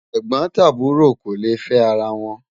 ègbón tàbúrò kò lẹ fẹ àrà wón